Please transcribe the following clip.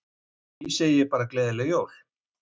Því segi ég bara gleðileg jól.